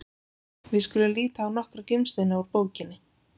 Við skulum líta á nokkra gimsteina úr bókinni: